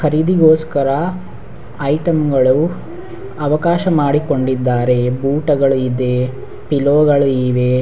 ಖರೀದಿಗೋಸ್ಕರ item ಗಳು ಅವಕಾಶ ಮಾಡಿಕೊಂಡಿದ್ದಾರೆ ಊಟಗಳು ಇದೆ ಪಿಲೋ ಗಳು ಇವೆ.